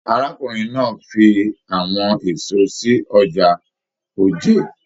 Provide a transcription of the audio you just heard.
Arákùnrin náà fí àwọn èso sí ọjà Òjé.